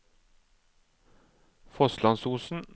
Fosslandsosen